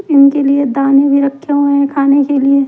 इनके लिए दाने भी रखे हुए हैं खाने के लिए ---